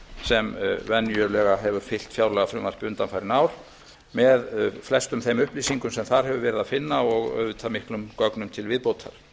sem venjulega hefur fylgt fjárlagafrumvarpi undanfarin ár með flestum þeim upplýsingum sem þar hefur verið að finna og auðvitað miklum gögnum til viðbótar